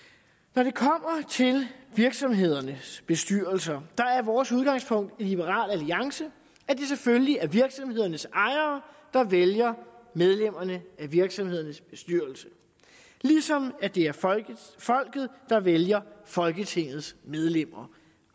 når det kommer til virksomhedernes bestyrelser er vores udgangspunkt i liberal alliance at det selvfølgelig er virksomhedernes ejere der vælger medlemmerne af virksomhedernes bestyrelser ligesom det er folket der vælger folketingets medlemmer